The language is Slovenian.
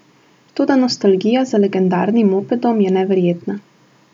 Toda nostalgija za legendarnim mopedom je neverjetna.